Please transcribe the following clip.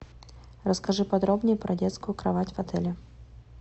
расскажи подробнее про детскую кровать в отеле